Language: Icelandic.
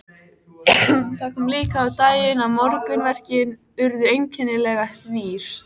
Það kom líka á daginn að morgunverkin urðu einkennilega rýr.